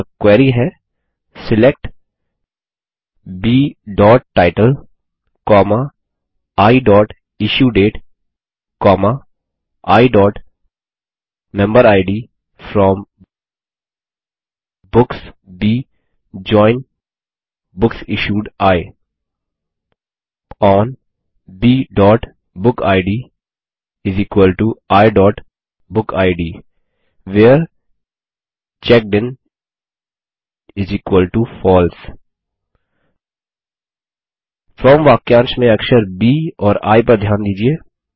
अतः क्वेरी है select b title i issue date i member id from books b join books issued i on b book id i book id where checked in false from वाक्यांश में अक्षर ब और आई पर ध्यान दीजिये